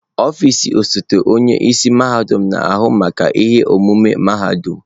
Ọfịs osote onye isi mahadum na-ahụ maka ihe omume mahadum.